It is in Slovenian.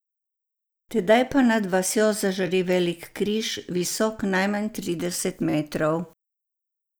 Tedaj pa nad vasjo zažari velik križ, visok najmanj trideset metrov.